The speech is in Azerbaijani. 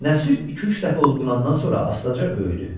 Nəsir iki-üç dəfə udqunandan sonra astaca öyüdü.